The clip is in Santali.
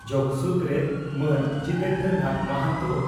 ᱡᱚᱜᱚ ᱥᱩᱛᱨᱮᱛ ᱢᱟᱱ ᱡᱤᱛᱮᱱᱫᱨᱚ ᱱᱟᱛᱷ ᱢᱚᱦᱟᱱᱛᱚ